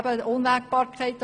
Es gibt Unwägbarkeiten.